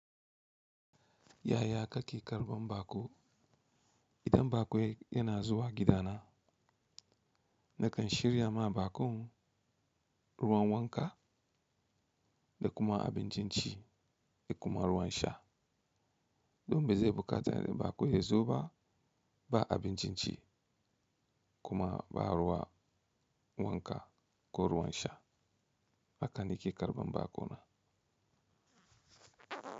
Yaya kake karɓan baƙo? Idan baƙo yana zuwa gidana, nakan shirya ma baƙon ruwan wanka da kuma abin cin ci da kuma ruwan sha. Domin zai buƙaci baƙo ya zo ba ba abin cin ci kuma ba ruwan wanka ko ruwan sha. Haka na ke karɓan baƙo na.